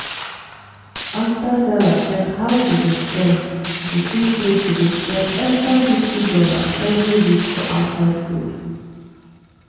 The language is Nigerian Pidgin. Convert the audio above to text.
after sarah check how she dey spend she see say she dey spend extra fifty dollarsevery week for outside food.